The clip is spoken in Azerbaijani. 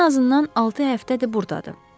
O ən azından altı həftədir burdadır.